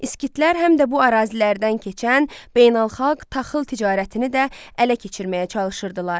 Skitlər həm də bu ərazilərdən keçən beynəlxalq taxıl ticarətini də ələ keçirməyə çalışırdılar.